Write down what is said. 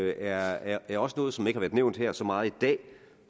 er er også noget som ikke har været nævnt her så meget i dag og